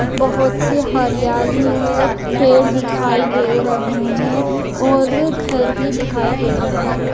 बहुत सी हरियाली है पेड़ दिखायी दे रहे है और घर भी दिखायी दे रहे है।